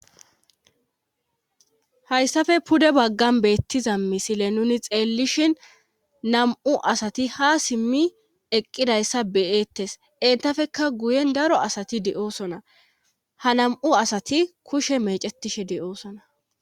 hayssafe pude baggan beettiza misile nuni xeellishin nam7u asati ha simmi eqqidayssa beyeettes intafeka guyen daro asati de7oosona ha nam7u asati kushe mecetishe de7oosona